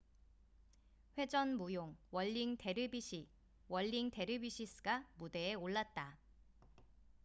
"회전 무용 "월링 데르비시whirlig dervishes""가 무대에 올랐다.